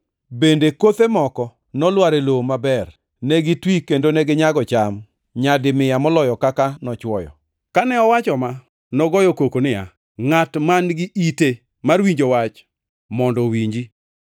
Bende kothe moko nolwar e lowo maber. Ne gitwi kendo neginyago cham, nyadi mia moloyo kaka nochwoyo.” Kane owacho ma, nogoyo koko niya, “Ngʼat man-gi ite mar winjo wach mondo owinji.”